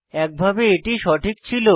একভাবে এটি সঠিক ছিল